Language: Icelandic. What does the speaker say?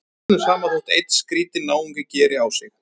Það er öllum sama þótt einn skrýtinn náungi geri á sig.